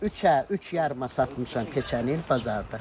Üçə, üç yarıma satmışam keçən il bazarda.